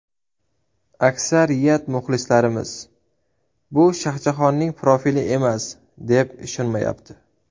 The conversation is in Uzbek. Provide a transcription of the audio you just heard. Aksariyat muxlislarimiz: ‘Bu Shohjahonning profili emas’, deb ishonmayapti.